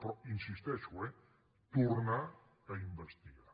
però hi insisteixo eh tornar a investigar